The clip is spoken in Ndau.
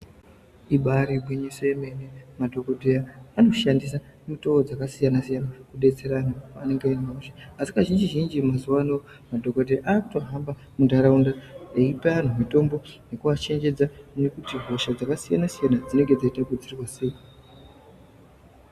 Ibari gwinyiso remene madhokodheya anoshandisa mitoo dzakasiyanasiyana kudetsera anhu anenge ane hosha asi kazhinjizhinji mazuwa ano madhokodheya akutohamba munharaunda veipa anhu mitombo nekuachenjedza nekuti hosha dzakasiyanasiyana dzinenenge dzieidziirirwa sei.